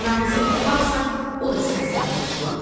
Aramızda it varsa, o da sənsən əclaf.